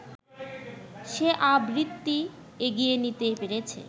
সে আবৃত্তি এগিয়ে নিতে পেরেছে